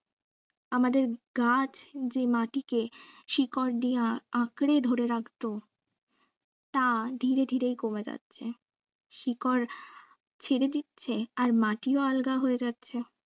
আমাদের গাছ যে মাটিকে শিকড় দিয়ে আ~আঁকরে ধরে রাখত তা ধীরে ধীরে কমে যাচ্ছে শিকড় ছেড়ে দিচ্ছে আর মাটিও আলগা হয়ে যাচ্ছে